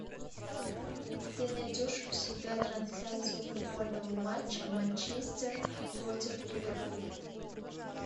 ты найдешь у себя трансляцию футбольного матча манчестер против ливерпуль